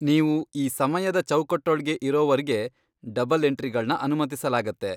ನೀವು ಈ ಸಮಯದ ಚೌಕಟ್ಟೊಳ್ಗೆ ಇರೋವರ್ಗೆ ಡಬಲ್ ಎಂಟ್ರಿಗಳ್ನ ಅನುಮತಿಸಲಾಗತ್ತೆ.